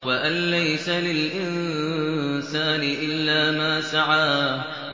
وَأَن لَّيْسَ لِلْإِنسَانِ إِلَّا مَا سَعَىٰ